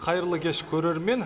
қайырлы кеш көрермен